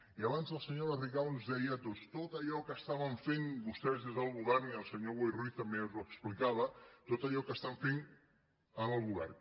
i abans la senyora rigau ens deia tot allò que estaven fent vostès des del govern i el senyor boi ruiz també ens ho explicava tot allò que estan fent en el govern